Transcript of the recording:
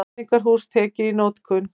Menningarhús tekið í notkun